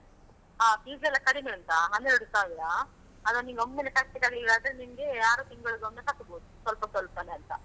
ಹಾ, fees ಎಲ್ಲಾ ಕಡಿಮೆ ಉಂಟಾ ಹನ್ನೆರಡು ಸಾವಿರ, ಅದು ನಿನ್ಗೆ ಒಮ್ಮೆಲೇ ಕಟ್ಲಿಕ್ಕಾಗಿಲಾದ್ರೆ ನಿಂಗೆ ಆರು ತಿಂಗಳಿಗೊಮ್ಮೆ ಕಟ್ಬೋದು ಸ್ವಲ್ಪ ಸ್ವಲ್ಪನೆ ಅಂತ.